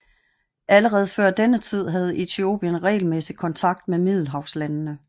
Allerede før denne tid havde Etiopien regelmæssig kontakt med middelhavslandene